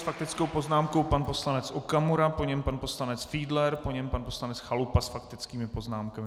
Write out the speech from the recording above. S faktickou poznámkou pan poslanec Okamura, po něm pan poslanec Fiedler, po něm pan poslanec Chalupa s faktickými poznámkami.